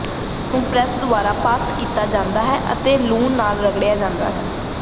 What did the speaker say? ਲਸਣ ਨੂੰ ਪ੍ਰੈਸ ਦੁਆਰਾ ਪਾਸ ਕੀਤਾ ਜਾਂਦਾ ਹੈ ਅਤੇ ਲੂਣ ਨਾਲ ਰਗੜ ਜਾਂਦਾ ਹੈ